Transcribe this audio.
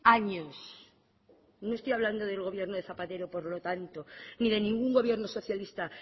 años no estoy hablando del gobierno de zapatero por lo tanto ni de ningún gobierno socialista